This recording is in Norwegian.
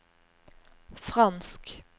fransk